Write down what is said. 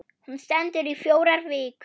Hún stendur í fjórar vikur.